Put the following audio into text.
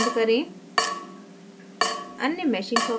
paraview window बंद करें